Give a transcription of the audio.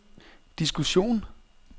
diskussion